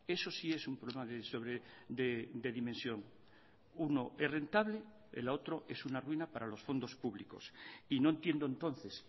eso sí es un problema de dimensión uno es rentable el otro es una ruina para los fondos públicos y no entiendo entonces